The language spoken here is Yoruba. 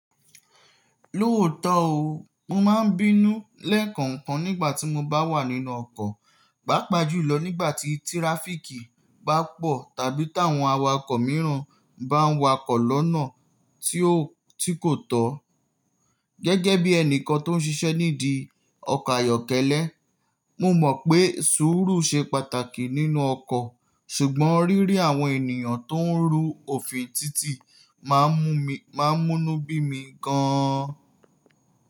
Lóòótọ́ ó, mo máa ń bínú lẹ́ẹ̀kan kan nígbà tí mo bá wà nínú ọkọ̀, pàápàá jùlọ nígbà tí tíráfíkì bá pọ̀ tàbí tí àwọn awakọ̀ mìíràn bá ń wakọ̀ lọ́nà tí kò tọ́. Gẹ́gẹ́ bí ẹnìkan tó ń ṣiṣẹ́ nídìí ọkọ̀ ayọ́kẹ́lẹ́, mo mọ̀ pé sùúrù ṣe pàtàkì nínú ọkọ̀, ṣùgbọ́n rírí àwọn ènìyàn tó ń rú òfin títì máa ń mú inú bí mi gan-an.